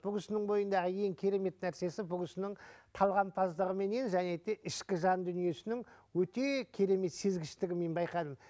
бұл кісінің бойындағы ең керемет нәрсесі бұл кісінің талғампаздығыменен және де ішкі жан дүниесінің өте керемет сезгіштігін мен байқадым